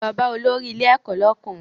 Lọ bá olórí ilé ẹ̀kọ́ lọ́kùnrin!